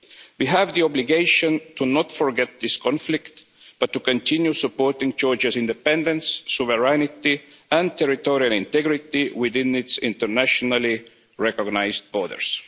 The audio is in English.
We have the obligation to not forget this conflict, but to continue supporting Georgia's independence, sovereignty and territorial integrity within its internationally recognised borders.